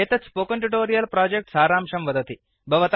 एतत् spoken tutorial project सारांशं वदति